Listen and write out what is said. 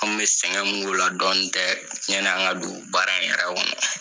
An kun bɛ sɛgɛn mun k'o la dɔɔni tɛ yanni an ka don baara in yɛrɛ kɔnɔna.